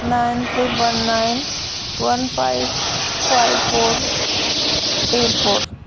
Nine three one nine one five five four eight four.